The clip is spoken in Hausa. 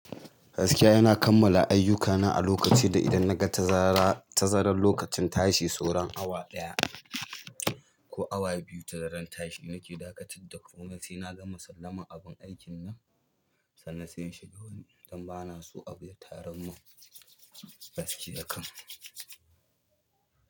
Gaskiya ina kammala ayyukana a lokaci da idan na ga tazara tazaran lokacin tashi sauran awa ɗaya ko awa biyu tazaran tashi, nake dakatar da komai sai na gama sallamar abun aikin nan, sannan sai in shiga wani inda bana so a biya tarar mun gaskiya kam.